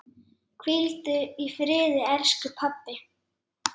Hvíldu í friði elsku pabbi.